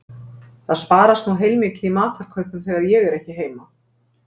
Það sparast nú heilmikið í matarkaupum þegar ég er ekki heima